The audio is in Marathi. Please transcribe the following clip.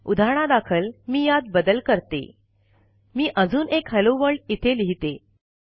उदाहरणादाखल मी यात बदल करते मी अजून एक हॅलो वर्ल्ड इथे लिहिते